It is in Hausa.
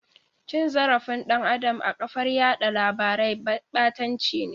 Cin zarafin dan Adam a kafar yada labarai batanci ne.